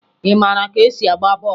Ị mara ka esi agba bọọlụ?